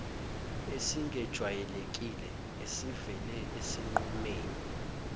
esingejwayelekile esivele esinqumeni